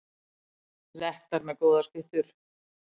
Lettar með góðar skyttur